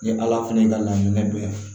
Ni ala fana ka laɲini don